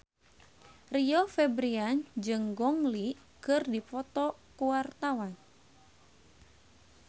Rio Febrian jeung Gong Li keur dipoto ku wartawan